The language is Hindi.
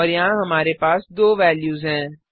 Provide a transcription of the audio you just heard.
और यहाँ हमारे पास दो वेल्यूज हैं